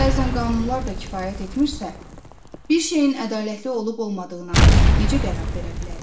Bəzən qanunlar da kifayət etmirsə, bir şeyin ədalətli olub-olmadığına necə qərar verə bilərik?